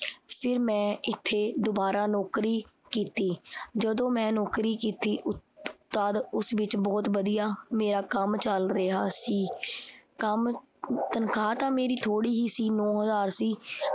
ਫਿਰ ਮੈਂ ਇਥੇ ਦੁਬਾਰਾ ਨੌਕਰੀ ਕੀਤੀ। ਜਦੋਂ ਮੈਂ ਨੌਕਰੀ ਕੀਤੀ ਉ ਤਦ ਉਸ ਵਿਚ ਬਹੁਤ ਵਧੀਆ ਕੰਮ ਚੱਲ ਰਿਹਾ ਸੀ। ਕੰਮ ਤਨਖਾਹ ਤਾ ਮੇਰੀ ਥੋੜੀ ਹੀ ਸੀ ਨੌਂ ਹਜ਼ਾਰ ਸੀ